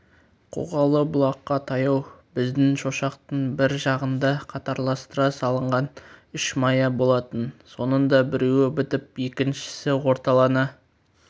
қоғалы бұлаққа таяу біздің шошақтың бір жағында қатарластыра салынған үш мая болатын соның да біреуі бітіп екіншісі орталана